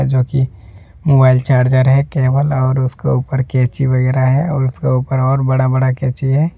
जोकि mobile charger है cable और उसके ऊपर कैंची वगैरह है और उसके ऊपर ओर बडा बडा कैंची है।